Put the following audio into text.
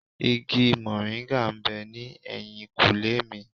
Igi mòríńgà ń bẹ ní ẹ̀yìnkùlé mi.